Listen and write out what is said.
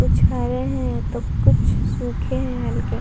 कुछ हरे हैं तो कुछ सूखे हैं हल्के।